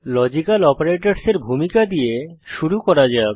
logical অপারেটরসের ভূমিকা দিয়ে শুরু করা যাক